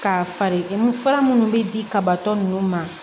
Ka fari fura minnu bɛ di kabatɔ ninnu ma